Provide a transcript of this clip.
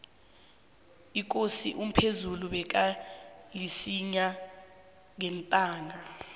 ikosi umphezulu bekalisinya ngentanga